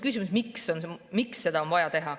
Küsimus on, miks seda on vaja teha.